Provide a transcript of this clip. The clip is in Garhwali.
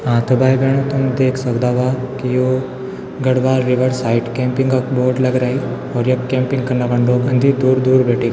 हाँ ते भाई-भेणाे तुम देख सकदा वा की यो गढ़वाल रिवर साइड कैम्पिंग क बोर्ड लग रई और यख कैम्पिंग कना खन लोग अन्दीन दूर-दूर बटी।